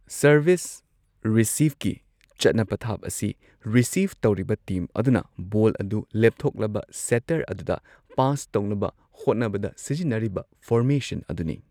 Service ꯔꯤꯁꯤꯚꯀꯤ ꯆꯠꯅ ꯄꯊꯥꯞ ꯑꯁꯤ ꯔꯤꯁꯤꯕ ꯇꯧꯔꯤꯕ ꯇꯤꯝ ꯑꯗꯨꯅ ꯕꯣꯜ ꯑꯗꯨ ꯂꯦꯞꯊꯣꯛꯂꯕ ꯁꯦꯇꯔ ꯑꯗꯨꯗ ꯄꯥꯁ ꯇꯧꯅꯕ ꯍꯣꯠꯅꯕꯗ ꯁꯤꯖꯤꯟꯅꯔꯤꯕ ꯐꯣꯔꯃꯦꯁꯟ ꯑꯗꯨꯅꯤ꯫